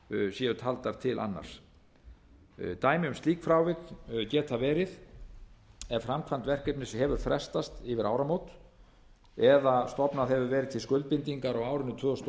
hafi verið taldar til annars dæmi um slík tilvik geta verið ef framkvæmd verkefnis hefur frestast yfir áramót eða stofnað hefur verið til skuldbindingar á árinu tvö þúsund og